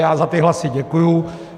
Já za ty hlasy děkuji.